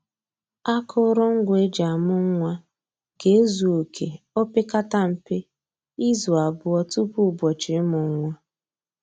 Akụrụngwa e ji amụ nwa ga-ezu oke o pekata mpe, izu abụọ tupu ụbọchị ịmụ nwa